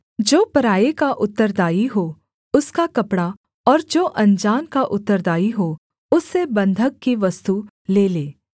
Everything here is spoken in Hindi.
जो पराए का उत्तरदायी हो उसका कपड़ा और जो अनजान का उत्तरदायी हो उससे बन्धक की वस्तु ले ले